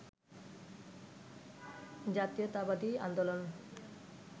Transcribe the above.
জাতীয়তাবাদী আন্দোলন